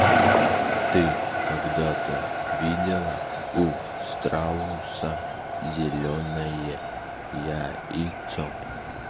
ты когда-то видела у страуса зелёное яйцо